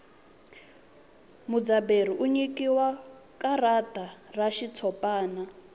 mudzaberi u nyikiwa karata ra xitshopani